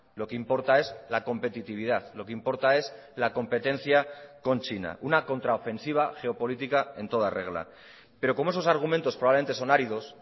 lo que importa es la competitividad lo que importa es la competencia con china una contraofensiva geopolítica en toda regla pero como esos argumentos probablemente son áridos